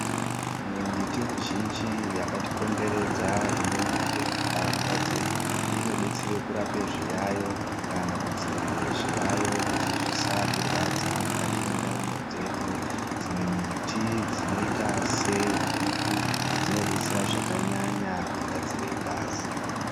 Imwe mbiti mizhinji yakatikomberedza inomere muntaraunda dzedu inodetsere kurape zviyaiyo kana kudziirire zviyayo kuti zvisatirwadza mukati mwendaramo dzedu, dzimwe miti dzinoita seguku dzinodetsere zvakanyanya kugadzire ngazi.